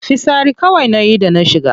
Fitsari kawai nayi da na shiga.